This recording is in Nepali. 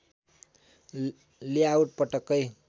लेआउट पटक्कै